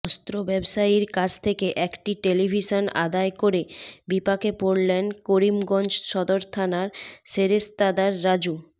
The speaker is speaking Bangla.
অস্ত্র ব্যবসায়ীর কাছ থেকে একটি টেলিভিশন আদায় করে বিপাকে পড়লেন করিমগঞ্জ সদর থানার সেরেস্তাদার রাজু